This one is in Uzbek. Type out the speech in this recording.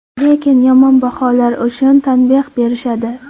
Lekin yomon baholar uchun tanbeh berishadi.